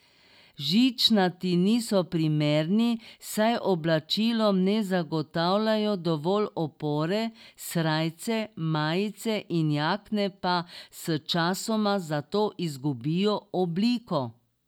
Žičnati niso primerni, saj oblačilom ne zagotavljajo dovolj opore, srajce, majice in jakne pa s časoma zato izgubijo obliko.